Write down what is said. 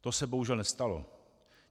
To se bohužel nestalo.